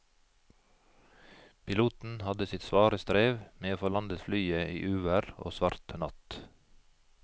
Piloten hadde sitt svare strev med å få landet flyet i uvær og svart natt.